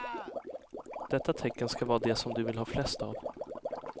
Detta tecken ska vara det som du vill ha flest av.